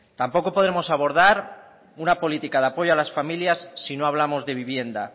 tampoco podremos abordar una política de apoyo a las familias si no hablamos de vivienda